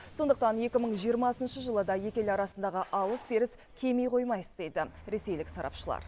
сондықтан екі мың жиырмасыншы жылы да екі ел арасындағы алыс беріс кеми қоймас дейді ресейлік сарапшылар